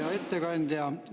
Hea ettekandja!